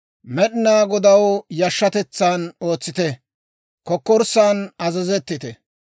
Med'inaa Godaw yashshatetsan ootsite; kokkorssaan azazettite.